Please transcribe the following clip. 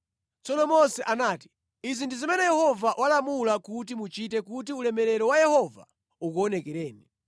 Tsono Mose anati, “Izi ndi zimene Yehova walamula kuti muchite kuti ulemerero wa Yehova ukuonekereni.”